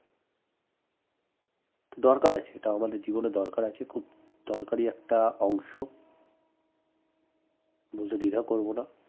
দরকার আছে এটা আমাদের জীবনে দরকার আছে খুব দরকারি একটা অংশ বলতে দ্বিধা করব না